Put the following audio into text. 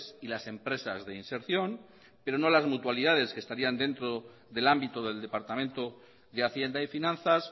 y las empresas de inserción pero no las mutualidades que estarían dentro del ámbito del departamento de hacienda y finanzas